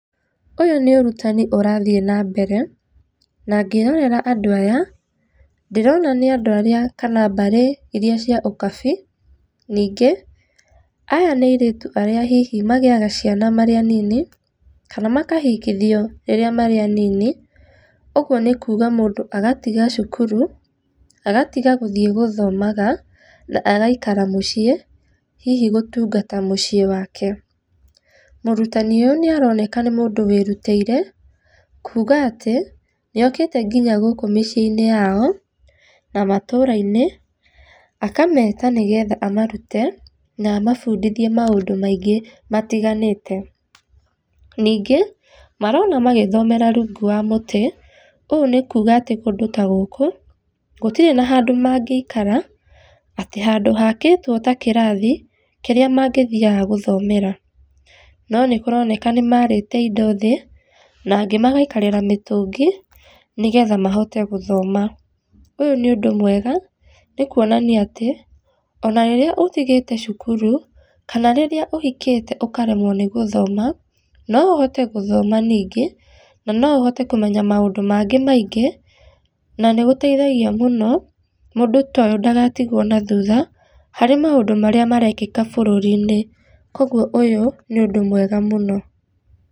Ũyũ nĩ ũrutani ũrathiĩ na mbere, na ngĩrorera andũ aya, ndĩrona nĩ andũ arĩa kana mbarĩ iria cia ũkabii. Ningĩ aya nĩ airĩtu arĩa hihi magĩaga ciana marĩ anini, kana makahikithio rĩrĩa marĩ anini ũguo kuuga mũndũ agatiga cukuru agatiga gũthiĩ gũthomaga na agaikara mũciĩ hihi gũtungata mũciĩ wake. Mũrutani ũyũ nĩaroneka nĩ mũndũ wĩrutĩire kuuga atĩ nĩokĩte nginya gũkũ mĩciĩ-inĩ yao, na matũũra-inĩ, akameta nĩgetha amarute na amabundithie maũndũ maingĩ matiganĩte. ningĩ marona magĩthomera rungu wa mũtĩ, ũũ nĩkuuga kũndũ ta gũkũ gũtirĩ na handũ mangĩikara atĩ handũ hakĩtwo ta kĩrathi kĩrĩa mangĩthiaga gũthomera. No nĩ kũroneka nĩmaarĩte indo thĩ na angĩ magaikarĩra mĩtũngi nĩgetha mahote gũthoma. Ũyũ nĩ ũndũ mwega nĩ kũonania atĩ ona rĩrĩa ũtigĩte cukuru kana rĩrĩa ũhikĩte ũkaremwo nĩ gũthoma, no ũhote gũthoma ningĩ na no ũhote kũmenya maũndũ mangĩ maingĩ na nĩ gũtethagia mũno mũndũ ta ũyũ ndagatigwo na thutha harĩ maũndũ marĩa marekĩka bũrũri-inĩ, koguo ũyũ nĩ ũndũ mwega mũno.